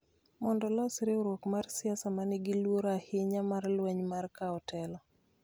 mondo olosi riwruok mar siasa ma nigi luoro ahinya mar lweny mar kawo telo.